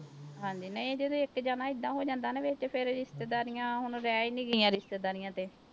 ਹਾਂਜੀ ਨਹੀਂ ਜਦੋਂ ਇੱਕ ਜਾਣਾ ਏਦਾਂ ਹੋ ਜਾਂਦਾ ਨਾ ਵੀ ਤੇ ਫਿਰ ਰਿਸ਼ਤੇਦਾਰੀਆਂ ਹੁਣ ਰਹਿ ਹੀ ਨੀ ਗਈਆਂ ਰਿਸ਼ਤੇਦਾਰੀਆਂ ਤੇ।